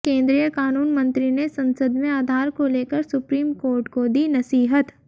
केंद्रीय क़ानून मंत्री ने संसद में आधार को लेकर सुप्रीम कोर्ट को दी नसीहत